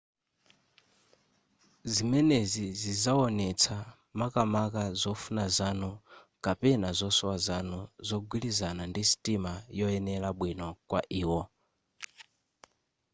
zimenezi zizawonetsa makamaka zofuna zanu ndi/kapena zosowa zanu zagwirizana ndi sitima yoyenera bwino kwa iwo